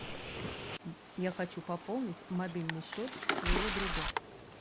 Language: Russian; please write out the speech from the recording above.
я хочу пополнить мобильный счет своего друга